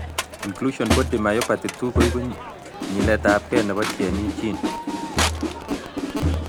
Inclusion body myopathy 2 koibu nyiletabge nebo GNE gene